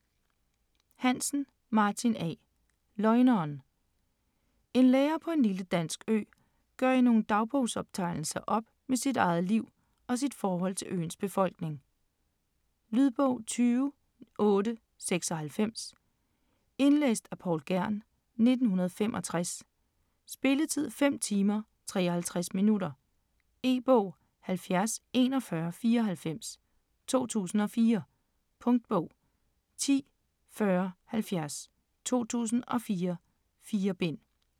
Hansen, Martin A.: Løgneren En lærer på en lille dansk ø gør i nogle dagbogsoptegnelser op med sit eget liv og sit forhold til øens befolkning. Lydbog 20896 Indlæst af Poul Kern, 1965. Spilletid: 5 timer, 53 minutter. E-bog 704194 2004. Punktbog 104070 2004. 4 bind.